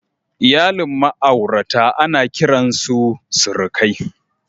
Iyalin ma'aurata ana kiran su surukai.